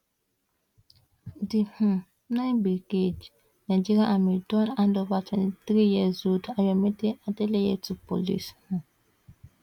di um nine brigade nigerian army don handover twenty three years old ayomide adeleye to police um